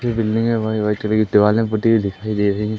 White colour की दिवाले पुती हुई दिखाई दे रही हैं।